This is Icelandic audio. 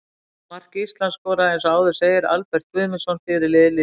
Mark Ísland skoraði eins og áður segir Albert Guðmundsson, fyrirliði liðsins.